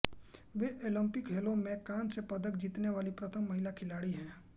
वे Olympic खेलों में कांस्य पदक जीतने वाली प्रथम महिला खिलाड़ी हैं